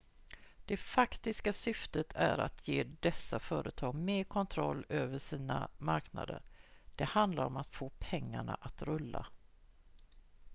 det faktiska syftet är att ge dessa företag mer kontroll över sina marknader det handlar om att få pengarna att rulla